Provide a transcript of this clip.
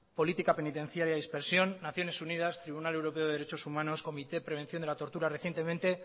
política penitenciaria de dispersión naciones unidas tribunal europeo de derechos humanos comité prevención de la tortura recientemente